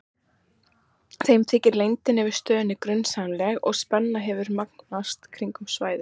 Þeim þykir leyndin yfir stöðinni grunsamleg og spenna hefur magnast kringum svæðið.